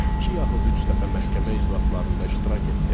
İki yaxud üç dəfə məhkəmə iclaslarında iştirak etdim.